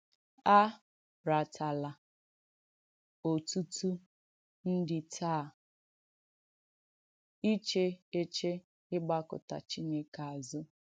A ràtàlà ọ̀tùtù ndí taa “ìchè èchè ị̀gbàkụ́tà Chìnèkè āzù.”